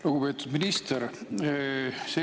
Lugupeetud minister!